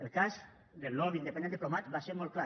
el cas del lobby independent diplomat va ser molt clar